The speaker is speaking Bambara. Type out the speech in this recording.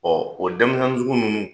Ɔ o denminsɛn sugu ninnu